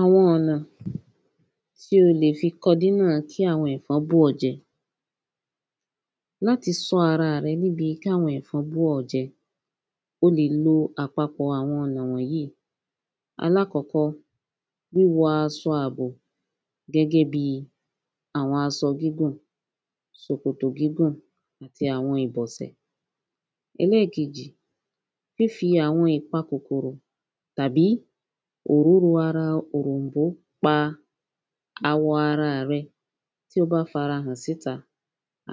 Àwo̩n ò̩nà̩ tí o lè fi ko̩dínà tí àwo̩n è̩fon bù ó̩ je̩. Láti san ara re̩ níbi káwo̩n è̩fon bù ó̩ je̩, o lè lo àpapò̩ ara wò̩n yí. Alákò̩kó̩, wíwo̩ as̩o̩ àbò, gé̩gé̩ bi àwo̩n aso̩ gígùn, sòkòtò gígùn, ti àwo̩n ìbò̩sè̩. E̩lé̩è̩kejì fífi àwo̩n ìpa kòkòrò tàbí òróro ara òròmbó pa àwo̩n ara à re̩ tí ó bá farahàn síta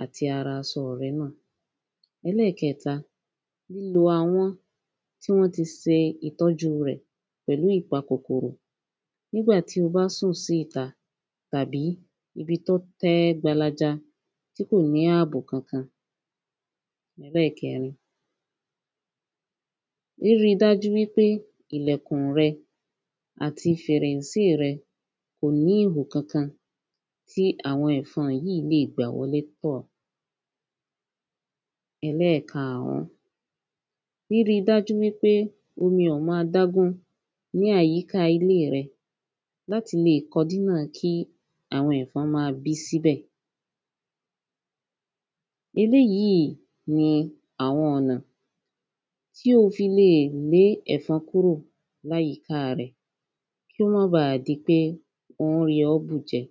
àti ara aso̩ re̩ na. E̩lé̩è̩ke̩ta, lílo awo̩n tí wó̩n ti se ìtó̩ju rè̩ pè̩lú ìpa kòkòrò nígbàtí o bá sùn sí ìta tàbí ibi tó̩n té̩ gbalaja tí kò ní àbò kankan. E̩lé̩è̩ke̩rin, ríri dájú wípé ìlè̩kùn re̩ àti fè̩rè̩nsí re̩ kò ní ìhò kankan tí àwo̩n è̩fo̩n yí lè gbà wo̩lé tò̩. E̩lé̩è̩karùn, ríri dájú wípé omi ò ma dágún ní àyíká ilé re̩, láti lè ko̩dína kí àwo̩n è̩fo̩n ma bí síbè̩. Eléyì ni àwo̩n ò̩nà tí o fi lè lé è̩fo̩n kúrò láyìká re̩ kó má ba di pé ó n yo̩ ó bù je̩.